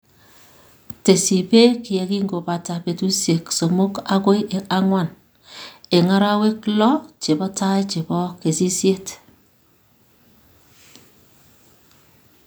tesyi peek ye kingo pata peetuusyek somok agoi ang'wan, eng' arawek lo che po tai che po kesisyet.